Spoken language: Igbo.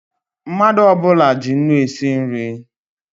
Mmadụ ọbula ji ńnú esi nri